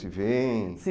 Se veem? Se